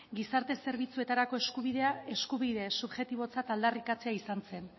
gizarte zerbitzuetarako eskubidea eskubide subjektibotzat aldarrikatzea izan zen